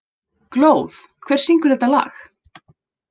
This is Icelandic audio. Glóð, hver syngur þetta lag?